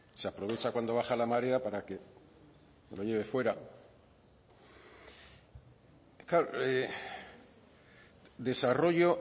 se aprovecha cuando baja la marea para que lo lleve fuera claro desarrollo